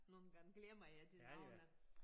Nogle gange glemmer jeg de navne